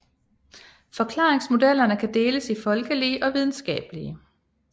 Forklaringsmodellerne kan deles i folkelige og videnskabelige